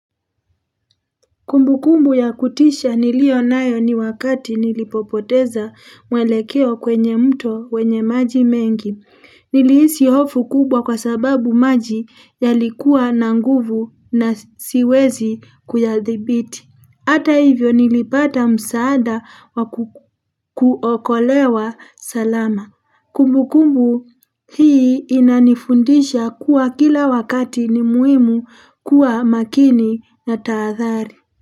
Kumbu kumbu ya kutisha nilio nayo ni wakati nilipopoteza mwelekeo kwenye mto wenye maji mengi. Niliisi hofu kubwa kwa sababu maji ya likuwa na nguvu na siwezi kuya dhibiti. Hata hivyo nilipata msaada wa kuokolewa salama. Kumbu kumbu hii inanifundisha kuwa kila wakati ni muimu kuwa makini na taadhari.